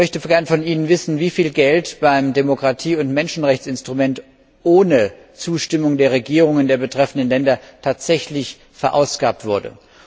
Ich möchte gerne von Ihnen wissen, wie viel Geld beim Demokratie und Menschenrechtsinstrument ohne Zustimmung der Regierungen der betreffenden Länder tatsächlich ausgegeben wurde.